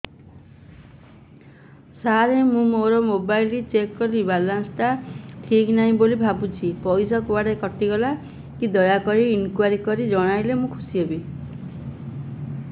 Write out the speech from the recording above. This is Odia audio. ସାର ମୁଁ ମୋର ମୋବାଇଲ ଚେକ କଲି ବାଲାନ୍ସ ଟା ଠିକ ନାହିଁ ବୋଲି ଭାବୁଛି ପଇସା କୁଆଡେ କଟି ଗଲା କି ଦୟାକରି ଇନକ୍ୱାରି କରି ଜଣାଇଲେ ମୁଁ ଖୁସି ହେବି